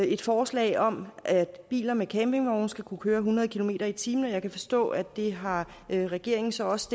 et forslag om at biler med campingvogne skal kunne køre hundrede kilometer per time jeg kan forstå at det har regeringen så også